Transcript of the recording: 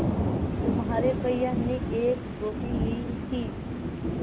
तुम्हारे भैया ने एक रोटी ली थी